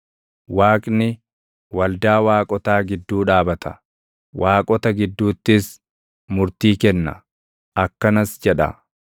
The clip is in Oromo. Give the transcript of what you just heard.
Waaqni, waldaa waaqotaa gidduu dhaabata; “waaqota” gidduuttis murtii kenna; akkanas jedha: